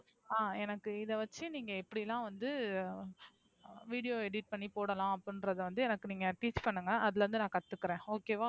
ஆஹ் எனக்கு இதைவச்சு நீங்க எப்படின்னா வந்து video edit பண்ணி போடலாம் அப்படின்றத வந்து எனக்கு நீங்க teach பண்ணுங்க. அதுல இருந்து நான் கத்துக்கிறேன் okay வா